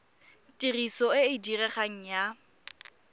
tiriso e e diregang ya